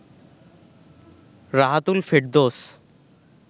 Rahatul Ferdous